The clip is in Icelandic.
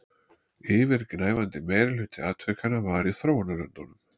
Yfirgnæfandi meirihluti atvikanna var í þróunarlöndunum